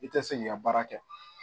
I tɛ se k'i ka baara kɛ